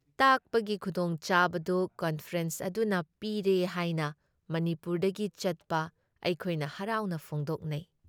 ꯇꯥꯛꯄꯒꯤ ꯈꯨꯗꯣꯡꯆꯥꯕꯗꯨ ꯀꯟꯐꯔꯦꯟꯁ ꯑꯗꯨꯅ ꯄꯤꯔꯦ ꯍꯥꯏꯅ ꯃꯅꯤꯄꯨꯔꯗꯒꯤ ꯆꯠꯄ ꯑꯩꯈꯣꯏꯅ ꯍꯔꯥꯎꯕ ꯐꯣꯡꯗꯣꯛꯅꯩ ꯫